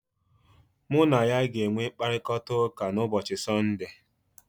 Mụ na ya ga-enwe mkparịkọtaụka na ụbọchị Sunday.